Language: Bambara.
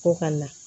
Ko ka na